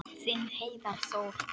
Þinn Heiðar Þór.